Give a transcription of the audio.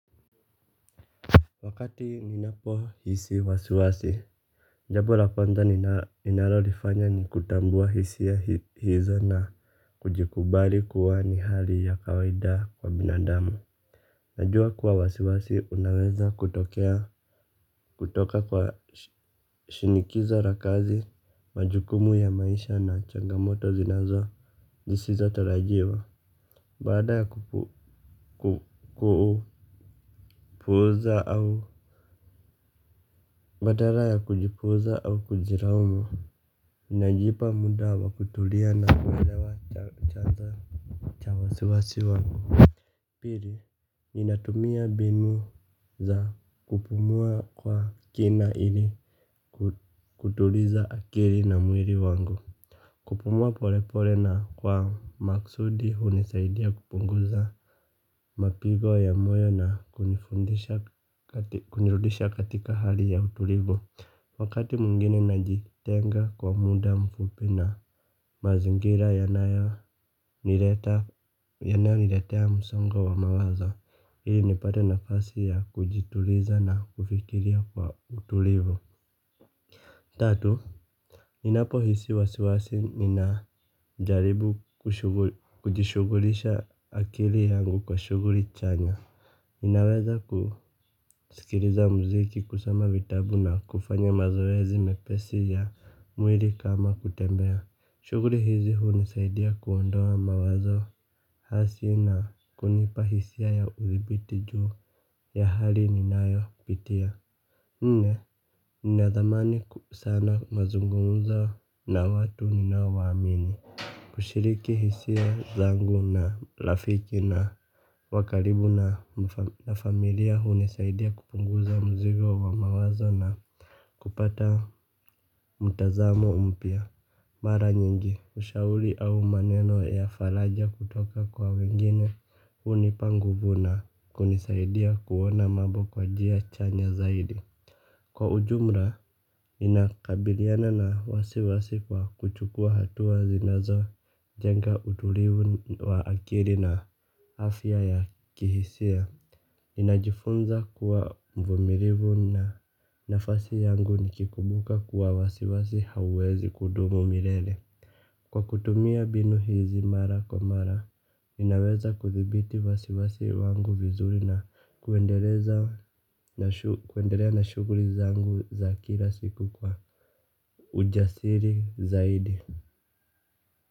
Wakati ninapohisi wasiwasi, jambo la kwanza ninalolifanya ni kutambua hisia hizo na kujikubali kuwa ni hali ya kawaida kwa binadamu. Najua kuwa wasiwasi unaweza kutoka kwa shinikiza la kazi, majukumu ya maisha na changamoto zisizotarajiwa. Baada ya kupuuza au badala ya kujipuuza au kujilaumu. Ninajipa muda wa kutulia na kuelewa chanza cha wasiwasi wangu. Pili ninatumia mbinu za kupumua kwa kina ili kutuliza akili na mwili wangu. Kupumua polepole na kwa makusudi hunisaidia kupunguza mapigo ya moyo na kunirudisha katika hali ya utulivu wakati mwingine najitenga kwa muda mfupi na mazingira yanayoni yanayaniletea msongo wa mawaza ili nipate nafasi ya kujituliza na kufikiria kwa utulivu tatu, ninapohisi wasiwasi ninajaribu kujishughulisha akili yangu kwa shughuli chanya ninaweza kusikiliza muziki, kusoma vitabu na kufanya mazoezi mepesi ya mwili kama kutembea shughuli hizi hunisaidia kuondoa mawazo hasi na kunipa hisia ya udhibiti juu ya hali ninayopitia. Nne, ninathamani sana mazungumza na watu ninaowaamini kushiriki hisia zangu na rafiki wa karibu na na familia hunisaidia kupunguza mzigo wa mawazo na kupata mtazamo mpya mara nyingi, ushauri au maneno ya faraja kutoka kwa wengine hunipa nguvu na kunisaidia kuona mambo kwa njia chanya zaidi. Kwa ujumla ninakabiliana na wasiwasi kwa kuchukua hatua zinazojenga utulivu wa akili na afya ya kihisia. Ninajifunza kuwa mvumilivu na nafasi yangu nikikumbuka kuwa wasiwasi hauwezi kudumu milele. Kwa kutumia mbinu hizi mara kwa mara, ninaweza kuthibiti wasiwasi wangu vizuri na kuendeleza kuendelea na shughuli zangu za kila siku kwa ujasiri zaidi.